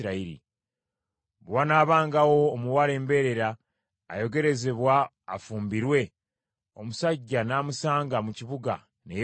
Bwe wanaabangawo omuwala embeerera ayogerezebwa afumbirwe, omusajja n’amusanga mu kibuga ne yeebaka naye,